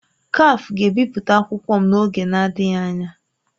Kafe ga-ebipụta akwụkwọ m n'oge adịghị anya.